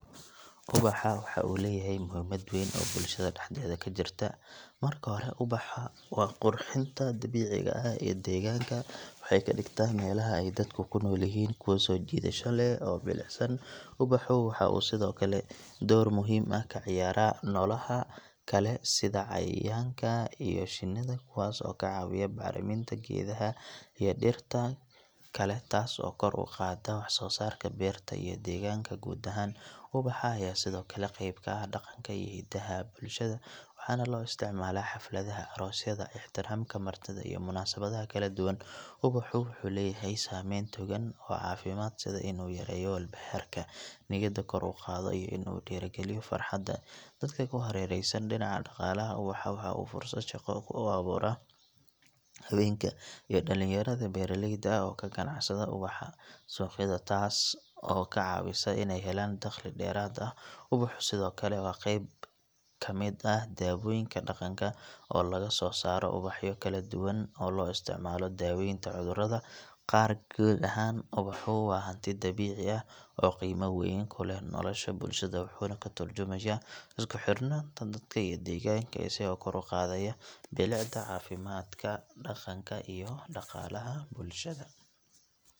Uwaxa waxaa uu leyahay muhiimad weyn ee bulshada dexdeeda kajirta, marka hore ubaxa waa qurxinta dabiiciga ah ee degaanka waxeey kadigtaa meelaha aay dadku kunolyihiin kuwa soo jidasha leh oo bilicsan, ubaxu waxaa uu sido kale door muhiim ah kaciyaara nolaha kale sida cayayaanka iyo shinida kuwaas oo kacaawiya bacraminta geedaha iyo dirta kale taas oo kor uqaata wax soo saarka beerta iyo deeganka guud ahaan, ubaxa ayaa sido kale mid ka ah daqanka bulshada waxaana loo isticmaala xafladaha, aroosyada, ixtiraamka martida iyo munasabadaha kala duban, ubaxa wuxuu leyahay sameyn cafimaad sida inuu yareeyo xeerka, niyada kor uqaado iyo in diiri galin, dadka ku hareereysan danka daqaalaha waxaa uu fursa shaqo u abuura habeenka iyo dalinyarada beeraleyda ee ka ganacsado ubaxa, suuqyada taas oo ka caawisa inaay helaan daqli deerad ah, ubaxa sido kale waa qeyb kamid ah daweenka daqanka oo laga soo saaro ubaxyo kala duban oo loo isticmaalo daweenka cudurada, guud ahaan wuxuu ahaa hanti dabiici ah oo qiima weyn kuleh nolosha bulshada wuxuuna ka turjumaya dadka iyo deeganka asago kor uqaadaya cafimaadka, daqanka iyo daqaalaha bulshada